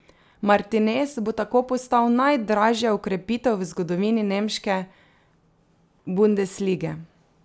Martinez bo tako postal najdražja okrepitev v zgodovini nemške bundeslige.